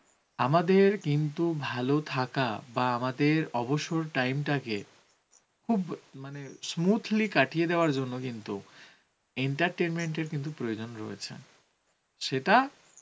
আমাদের কিন্তু ভালো থাকা বা আমাদের অবসর time টাকে খুব smoothly কাটিয়ে দেওয়ার জন্য কিন্তু entertainment এর কিন্তু প্রয়োজন রয়েছে সেটা